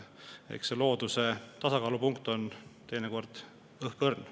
Eks see looduse tasakaal ole teinekord õhkõrn.